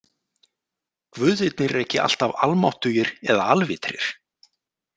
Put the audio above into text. Guðirnir eru ekki alltaf almáttugir eða alvitrir.